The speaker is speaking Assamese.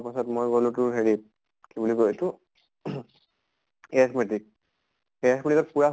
পাছত ম্ই গʼলো তোৰ হেৰিত কি বুলি কয় এইটো ing arithmetic, arithmetic ত পুৰা